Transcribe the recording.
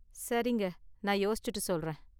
சரிங்க, நான் யோசிச்சுட்டு சொல்றேன்.